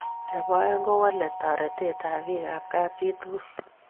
Nebo aeng ko walae taretet ab piikeng' kapchii tugul